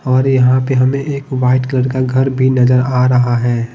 और यहां पे हमें एक वाइट कलर का घर भी नजर आ रहा है।